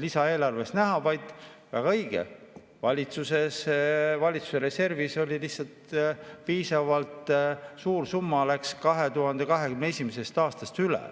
lisaeelarves näha, vaid, väga õige, valitsuse reservis lihtsalt piisavalt suur summa läks 2021. aastast üle.